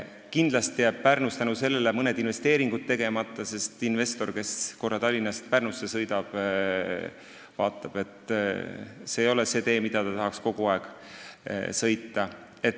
Kindlasti jäävad Pärnus seetõttu mõned investeeringud tegemata, sest investor, kes korra Tallinnast Pärnusse sõidab, vaatab, et see ei ole see tee, mida mööda ta tahaks kogu aeg sõita.